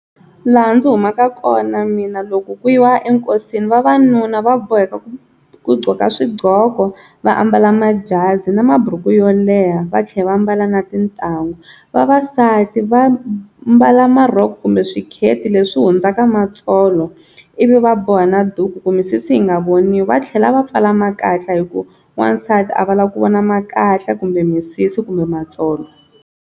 Laha ndzi humaka kona mina loko ku yiwa enkosini vavanuna va boheka ku gqoka swigqoko, va ambala majazi na maburuku yo leha va tlhela va ambala na tintangu, vavasati va mbala marhoko kumbe swikheti leswi hundzaka matsolo ivi va boha na duku ku misisi yi nga voniwi, va tlhela va pfala makatla hi ku wansati a va lavi ku vona makatla kumbe misisi kumbe matsolo.